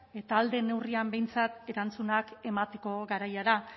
eta ahal den neurrian behintzat erantzunak emateko garaia da